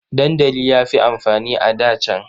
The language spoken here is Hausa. Dandali ya fi amfani a da can.